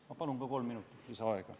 Ma palun kolm minutit lisaaega!